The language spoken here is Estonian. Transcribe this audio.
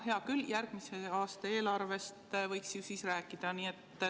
Hea küll, järgmise aasta eelarvest võiks siis ju rääkida.